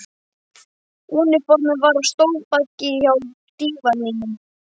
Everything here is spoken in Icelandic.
Úniformið var á stólbaki hjá dívaninum.